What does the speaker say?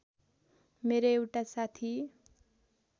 मेरो एउटा साथी